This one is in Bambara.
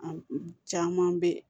A caman bɛ yen